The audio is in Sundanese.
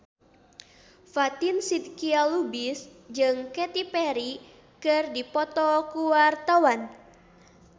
Fatin Shidqia Lubis jeung Katy Perry keur dipoto ku wartawan